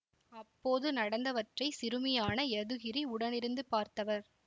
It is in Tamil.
அப்போது நடந்தவற்றை சிறுமியான யதுகிரி உடனிருந்து பார்த்தவர்